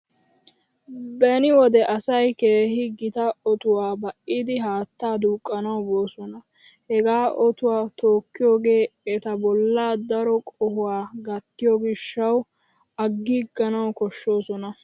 Beni wode asay keehi gita otuwaa ba'idi haatta duuqqanaw boosona. Hegaa otuwaa tookkiyoogee eta bolla daro qohuwa gatteiyoo gishshaw agiiganaw koshshoosona.